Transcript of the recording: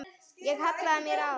Ég hallaði mér að honum.